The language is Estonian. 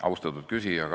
Austatud küsija!